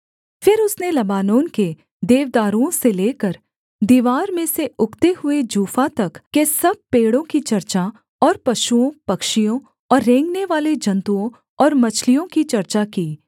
फिर उसने लबानोन के देवदारुओं से लेकर दीवार में से उगते हुए जूफा तक के सब पेड़ों की चर्चा और पशुओं पक्षियों और रेंगनेवाले जन्तुओं और मछलियों की चर्चा की